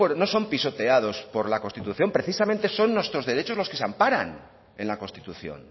no son pisoteados por la constitución precisamente son nuestros derechos los que se amparan en la constitución